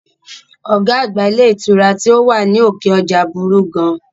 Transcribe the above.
Ọ̀gá àgbà ilé ìtura tí ó wà ní òkè ọjà burú gan